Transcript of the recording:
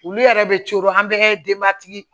Olu yɛrɛ bɛ coolo an bɛɛ ka denbaya tigi